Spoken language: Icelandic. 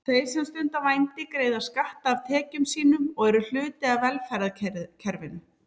Þeir sem stunda vændi greiða skatta af tekjum sínum og eru hluti af velferðarkerfinu.